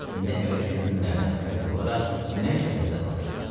İndi əvvəlki günlərdən fərqli olaraq günəş dənizdə batırdı.